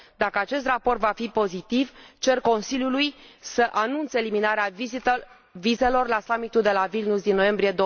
Dacă acest raport va fi pozitiv, cer Consiliului să anunțe eliminarea vizelor la summitul de la Vilnius, din noiembrie